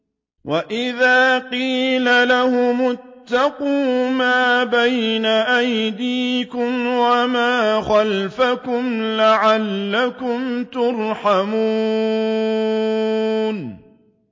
وَإِذَا قِيلَ لَهُمُ اتَّقُوا مَا بَيْنَ أَيْدِيكُمْ وَمَا خَلْفَكُمْ لَعَلَّكُمْ تُرْحَمُونَ